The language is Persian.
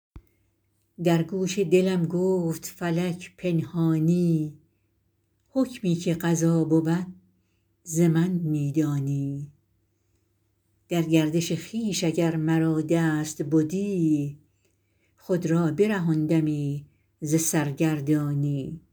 در گوش دلم گفت فلک پنهانی حکمی که قضا بود ز من می دانی در گردش خویش اگر مرا دست بدی خود را برهاندمی ز سرگردانی